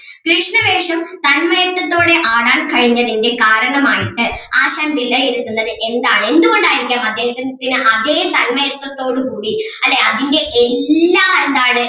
കൃഷ്ണവേഷം തന്മയക്കത്തോടെ ആടാൻ കഴിഞ്ഞതിൻ്റെ കാരണം ആയിട്ട് ആശാൻ വിലയിരുത്തുന്നത് എന്താണ് എന്തുകൊണ്ട് ആയിരിക്കാം അദ്ദേഹത്തിന് പിന്നെ അതേ തന്മയക്കത്തോടുകൂടി അല്ലെ അതിൻ്റെ എല്ലാ എന്താണ്